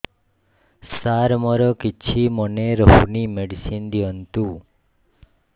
ସାର ମୋର କିଛି ମନେ ରହୁନି ମେଡିସିନ ଦିଅନ୍ତୁ